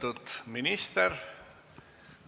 Aitäh!